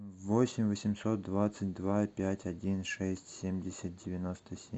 восемь восемьсот двадцать два пять один шесть семьдесят девяносто семь